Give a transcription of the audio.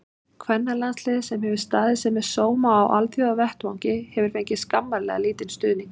Kvennalandsliðið, sem hefur staðið sig með sóma á alþjóðavettvangi, hefur fengið skammarlega lítinn stuðning.